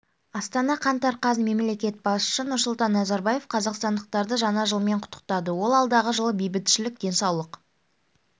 астана қаңтар қаз мемлекет басшысы нұрсұлтан назарбаев қазақстандықтарды жаңа жылмен құттықтады ол алдағы жылы бейбітшілік денсаулық